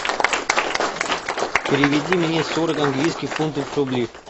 переведи мне сорок английских фунтов в рубли